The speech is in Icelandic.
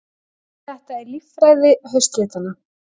Þetta er líffræði haustlitanna.